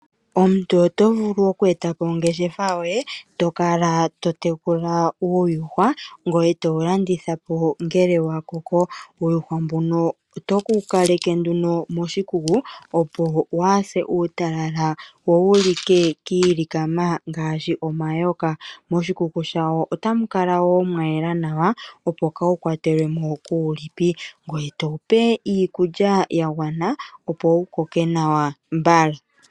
Omuntu oto vulu okweeta po ongeshefa yoye, to kala to tekula uuyuhwa ngoye to wu landitha po ngele wa koko. Uuyuhwa mbuno oto wu kaleke moshikuku opo waase uutalala wo wu like kiilikama ngaashi omayoka. Moshikuku otamu kala woo mwa yela nawa opo kaawu kwatelwe mo kuulipi, ngoye to wipe iikulya yagwana opo wukoke nawa mbala.